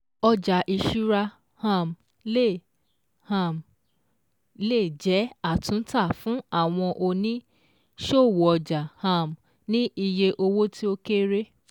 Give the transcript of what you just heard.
Ọjà ìṣúra um le um è jẹ́ àtúntà fún àwọn òní-ṣòwò ọjà um ní iye owó tí ó kéré